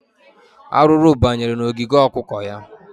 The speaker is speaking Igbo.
Arụrụ banyere n'ogige okụkọ ya.